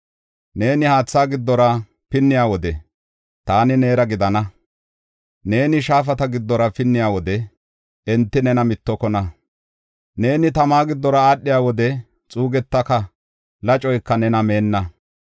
Neeni haatha giddora pinniya wode taani neera gidana. Neeni shaafata giddora pinniya wode enti nena mittokona. Neeni tama giddora aadhiya wode xuugetaka; lacoyka nena meenna.